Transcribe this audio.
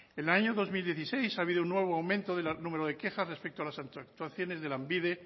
en el año dos mil dieciséis ha habido un nuevo aumento del número de quejas respecto a las actuaciones de lanbide